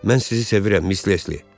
Mən sizi sevirəm, Mis Lesli.